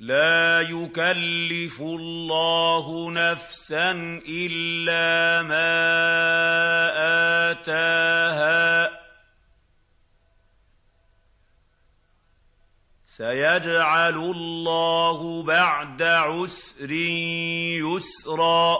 لَا يُكَلِّفُ اللَّهُ نَفْسًا إِلَّا مَا آتَاهَا ۚ سَيَجْعَلُ اللَّهُ بَعْدَ عُسْرٍ يُسْرًا